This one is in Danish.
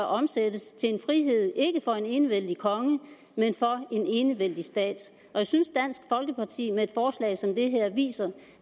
omsættes til en frihed ikke for en enevældig konge men for en enevældig stat og jeg synes at dansk folkeparti med et forslag som det her viser